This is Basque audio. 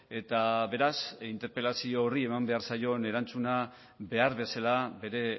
eta beraz interpelazio horri eman behar zaion erantzuna behar bezala bere